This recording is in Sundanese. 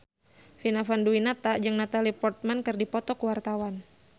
Vina Panduwinata jeung Natalie Portman keur dipoto ku wartawan